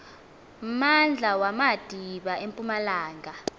mmandla wamadiba empumalanga